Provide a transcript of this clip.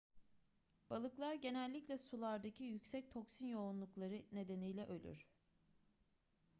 balıklar genellikle sulardaki yüksek toksin yoğunlukları nedeniyle ölür